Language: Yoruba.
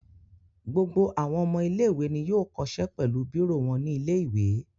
Gbogbo àwọn ọmọ ilé-ìwé ni yóò kó ṣe pẹ̀lú bírò wọn ní ilé-ìwé.